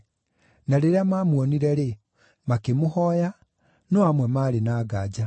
Na rĩrĩa maamuonire-rĩ, makĩmũhooya, no amwe maarĩ na nganja.